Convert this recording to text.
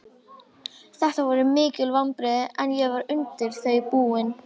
Þetta voru mikil vonbrigði en ég var undir þau búinn.